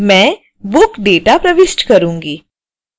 मैं book data प्रविष्ट करूंगी